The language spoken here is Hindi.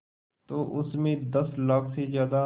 तो उस में दस लाख से ज़्यादा